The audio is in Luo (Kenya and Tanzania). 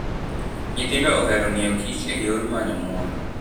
Nyithindo ohero ng'iyo Kich e yor manyo mor.